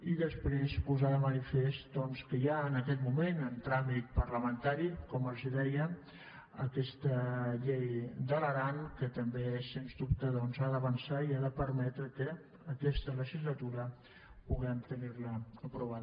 i després posar de manifest doncs que hi ha en aquest moment en tràmit parlamentari com els deia aquesta llei de l’aran que també sens dubte ha d’avançar i ha de permetre que aquesta legislatura puguem tenir la aprovada